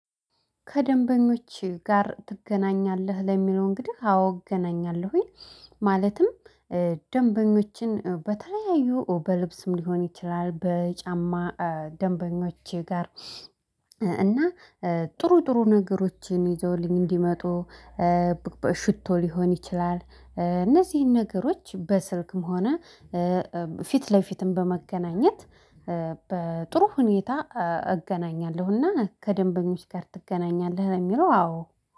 ከደንበኞች ጋር ትገናኛለህ ለሚለው እንግዲህ አዎ አግናኛለሁኝ። ማለትም ደንበኞችን በተለያዩ በልብስም ሊሆን ይችላል በጫማ ደንበኞች ጋር እና ጥሩ ጥሩ ነገሮችን ይዘውልኝ እንዲመጡ። ሽቶ ሊሆን ይችላል እነዚህን ነገሮች በስልክም ሆነ ፊት ለፊትም በመገናኘት በጥሩ ሁኔታ እገናኛለሁና። ከደንበኞች ጋር ትገናኛለህ ለሚለው አዎ